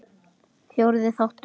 Fjórði þáttur